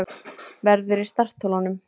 Verður í startholunum